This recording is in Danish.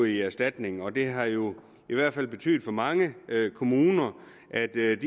i erstatning og det har jo i hvert fald betydet for mange kommuner at de ikke